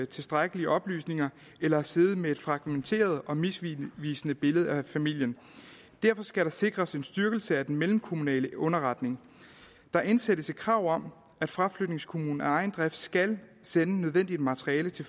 tilstrækkelige oplysninger eller har siddet med et fragmenteret og misvisende billede af familien derfor skal der sikres en styrkelse af den mellemkommunale underretning der indsættes et krav om at fraflytningskommunen af egen drift skal sende nødvendigt materiale til